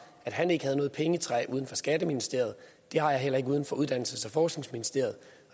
at han ikke havde noget pengetræ uden for skatteministeriet det har jeg heller ikke uden for uddannelses og forskningsministeriet